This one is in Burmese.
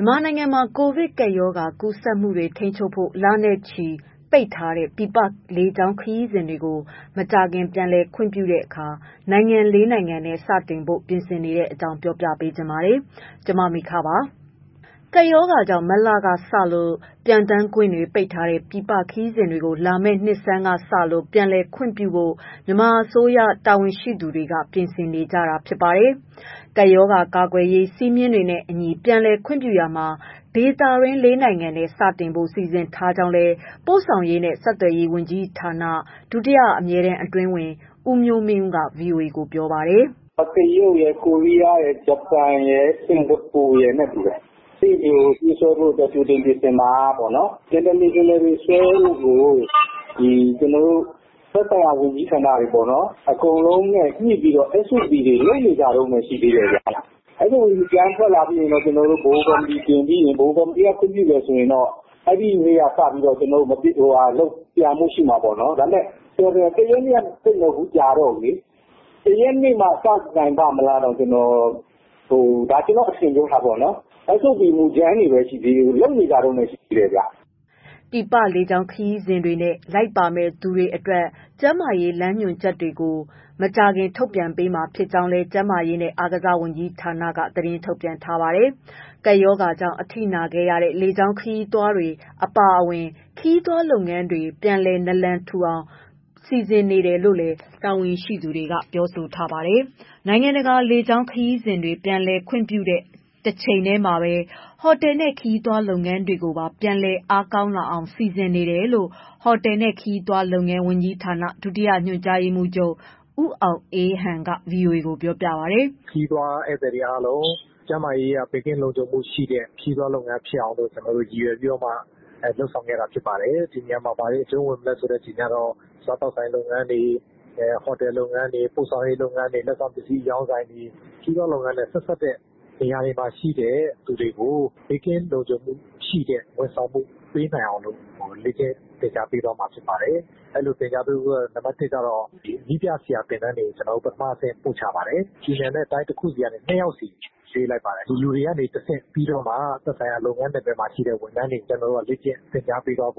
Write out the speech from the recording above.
မြန်မာနိုင်ငံမှာ ကိုဗစ်ကပ်ရောဂါကူးစက်မှုတွေကို ထိန်းချုပ်ဖို့ လနဲ့ချီ ပိတ်ထားတဲ့ ပြည်ပလေကြောင်းခရီးစဉ်တွေကို မကြာခင်ပြန်လည် ခွင့်ပြုတဲ့အခါ နိုင်ငံ ၄ နိုင်ငံနဲ့ စတင်ဖို့ ပြင်ဆင်နေတဲ့အကြောင်းကို ဗွီအိုအေမြန်မာပိုင်း သတင်းထောက် မမေခက ပြောပြပါမယ်။ ကပ်ရောဂါကြောင့် မတ်လကစလို့ ပျံသန်းခွင့်ပိတ်ထားတဲ့ ပြည်ပခရီးစဉ်တွေကို လာမယ့်နှစ်ဆန်းကစလို့ ပြန်လည်ခွင့်ပြုဖို့ မြန်မာအစိုးရ တာဝန်ရှိသူတွေ ပြင်ဆင်နေတာ ဖြစ်ပါတယ်။ ကပ်ရောဂါကာကွယ်ရေး စည်းမျဉ်းတွေနဲ့အညီ ပြန်လည်ခွင့်ပြုရာမှာ ဒေသတွင်း ၄ နိုင်ငံနဲ့ စတင်ဖို့ စီစဉ်ထားကြောင်းလည်း ပို့ဆောင်ရေးနဲ့ ဆက်သွယ်ရေးဝန်ကြီးဌာန ဒုတိယအမြဲတမ်းအတွင်းဝန် ဦးမျိုးမင်းဦးက ဗွီအိုအေကို ပြောပါတယ်။ "တရုတ်ရယ်၊ ဂျပန်ရယ်၊ ကိုရီးယား၊ စင်္ကာပူရယ် ပြေးဆွဲဖို့ကြိုတင်ပြင်ဆင်တာက international ဆွဲဖို့ကို သက်ဆိုင်ရာဝန်ကြီးဌာနတွေ အကုန်လုံးနဲ့ ညှိပြီးတော့ လက်ရှိက လုပ်နေကြတုန်း ရှိတယ်။ SOP မူကြမ်းထွက်လို့ ဗဟိုကော်မတီတင်လို့ တင်ပြီးရင် ဗဟိုကော်မတီက ခွင့်ပြုရင်တော့ လာမယ့် ၁ ရက်နေ့ဆွဲနိုင်မှာပေါ့။ ကျနော်တို့ကတော့ခုက ၁ ရက်နေ့က စနိုင်ပါ့မလားပေါ့... ကျနော့်အထင်ပါ။ SOP က ခုမှလုပ်နေကြတုန်းရှိသေးတယ်။" ပြည်ပလေကြောင်းခရီးစဉ်တွေနဲ့ လိုက်ပါမယ့်သူတွေအတွက် ကျန်းမာရေး လမ်းညွှန်ချက်တွေကို မကြာခင်ထုတ်ပြန်ပေးမှာဖြစ်ကြောင်းလည်း ကျန်းမာရေးနဲ့ အားကစားဝန်ကြီးဌာနက သတင်းထုတ်ပြန်ထားပါတယ်။ ကပ်ရောဂါကြောင့် အထိနာခဲ့ရတဲ့ လေကြောင်းလုပ်ငန်းတွေ အပါအဝင် ခရီးသွား လုပ်ငန်းတွေကို ပြန်လည်နာလန်ထူလာအောင် စီစဉ်နေတယ်လို့လည်း တာဝန်ရှိသူတွေက ပြောပါတယ်။ နိုင်ငံတကာ လေကြောင်းခရီးစဉ်တွေ ပြန်လည်ခွင့်ပြုတဲ့ တချိန်တည်းမှာပဲ ဟိုတယ်နဲ့ ခရီးသွားလုပ်ငန်းတွေကိုပါ ပြန်လည်အားကောင်းလာအောင် စီစဉ်နေတယ်လို့လည်း ဟိုတယ်နဲ့ ခရီးသွားလုပ်ငန်း ဝန်ကြီးဌာန၊ ဒုတိယညွှန်ကြားရေးမှူးချုပ် ဦးအောင်အေးဟန် က ဗွီအိုအေကို ပြောပါတယ်။ "ခရီးသွားဧည့်သည်တွေအားလုံး ကျန်းမာရေးအရ ဘေးကင်းလုံခြုံမှုရှိတဲ့ ခရီးသွား လုပ်ငန်းဖြစ်အောင်လို့ ကျနော်တို့ ရည်ရွယ်ပြီးတော့မှ လုပ်ဆောင်ခဲ့တာဖြစ်ပါတယ်။ ဒီနေရာမှာ ဘာတွေအကျုံးဝင်မလဲဆိုတာကတော့ စားသောက်ဆိုင်လုပ်ငန်းတွေ၊ ဟော်တယ်လုပ်ငန်းတွေ၊ ပို့ဆောင်ရေးလုပ်ငန်းတွေ၊ လက်ဆောင်ပစ္စည်းအရောင်းဆိုင်တွေ၊ ခရီးသွားလုပ်ငန်းနဲ့ ဆက်စပ်တဲ့နေရာတွေမှာရှိတဲ့ လူတွေကို ဘေးကင်းလုံခြုံမှုရှိတဲ့ ဝန်ဆောင်မှု ပေးနိုင်အောင်လို့ လေ့ကျင့်သင်ကြားပေးသွားမှာ ဖြစ်ပါတယ်။ ပြည်နယ်နဲ့တိုင်းတခုစီကနေ နှစ်ယောက်စီ ရွေးလိုက်ပါတယ်။ ဒီလူတွေကနေတဆင့် ပြီးတော့မှ သက်ဆိုင်ရာ လုပ်ငန်းနယ်ပယ်တွေမှာ ရှိတဲ့ ဝန်ထမ်းတွေကို လေ့ကျင့်သင်ကြားပေးဖို့